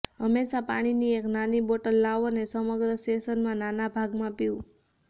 હંમેશાં પાણીની એક નાની બોટલ લાવો અને સમગ્ર સેશનમાં નાના ભાગમાં પીવું